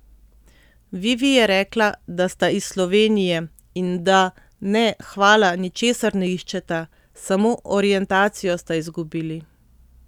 Vivi je rekla, da sta iz Slovenije in da, ne, hvala, ničesar ne iščeta, samo orientacijo sta izgubili.